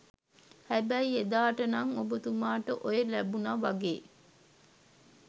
හැබැයි එදාට නං ඔබතුමාට ඔය ලැබුනා වගේ